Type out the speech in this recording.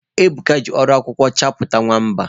Ebuka ji ọrụ akwụkwọ chepụta nwamba